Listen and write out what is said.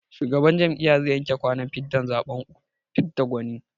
Shugaban jam'iyyar zai yanke kwanan watan zaɓen fidda gwani.